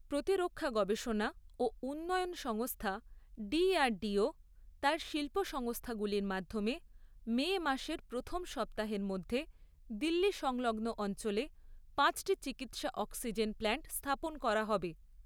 প্রতিরক্ষা গবেষণা ও উন্নয়ন সংস্থা ডিআর়ডিও, তার শিল্প সংস্থাগুলির মাধ্যমে মে মাসের প্রথম সপ্তাহের মধ্যে দিল্লি সংলগ্ন অঞ্চলে পাঁচটি চিকিৎসা অক্সিজেন প্ল্যান্ট স্থাপন করা হবে।